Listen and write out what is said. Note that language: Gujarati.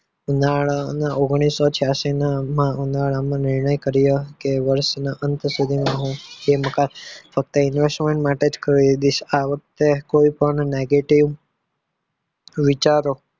ઉનાળના ઓગનીશો છયાશી ના ઉનાળામાં નિર્ણય કર્યો કે વર્ષના અંત સુધી મા હું બે મકાન ફક્ત investment માટે જ ખરીદીશ આ વખતે કોઈ પણ negative વિચારો